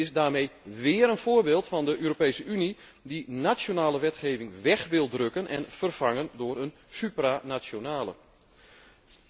Het is daarmee weer een voorbeeld van de Europese Unie die nationale wetgeving weg wil drukken en vervangen door een supranationale wetgeving.